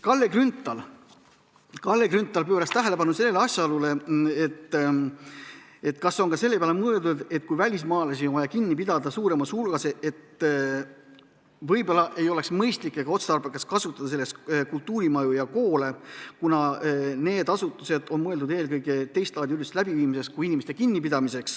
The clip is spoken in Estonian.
Kalle Grünthal pööras tähelepanu asjaolule, et kui välismaalasi on vaja kinni pidada suuremas hulgas, siis võib-olla ei oleks mõistlik ega otstarbekas kasutada selleks kultuurimaju ja koole, kuna need asutused on mõeldud teistlaadi ürituste läbiviimiseks kui inimeste kinnipidamiseks.